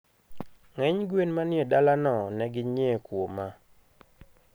Ngeny gwen manie dala no neginyie kuoma